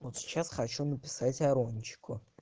вот сейчас хочу написать арончику